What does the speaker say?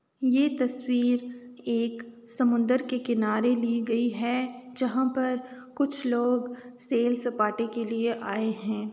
ये तस्वीर एक समुन्दर के किनारे ली गयी हैं । जहाँ पर कुछ लोग सेल सपाटे के लिए आये हैं ।